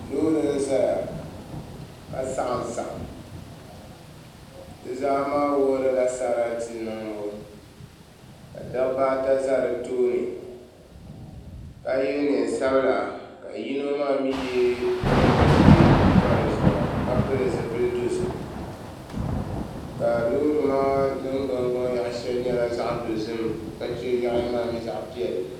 Loori n ʒɛya ka saɣam saɣam di zaa maa wuhurila sarati niŋbu ka dabba ata ʒɛ di tooni ka yɛ neen sabila ka yino maa mii yɛ liiga ʒiɛ n pa dizuɣu ka pili zipili dozim ka loori maa ningbuni gbaŋ yaɣa shɛli nyɛla zaɣ dozim ka chɛ yaɣali maa mii zaɣ piɛlli